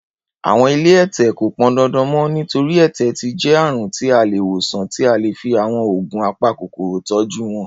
Àwọn ilé ẹ̀tẹ̀ kò pọndandan mọ́, nítorí, ẹ̀tẹ̀ ti jẹ́ àrùn tí a lè wòsàn tí a lè fi àwọn oògùn apakòkòrò tọ́jú wọn.